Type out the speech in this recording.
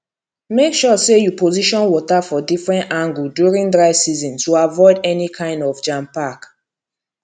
make sure say you position water for different angle during dry season to avoid any kind of jampack